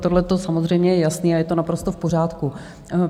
Tohleto samozřejmě je jasné a je to naprosto v pořádku.